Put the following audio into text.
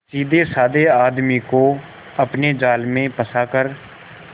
सीधेसाधे आदमी को अपने जाल में फंसा कर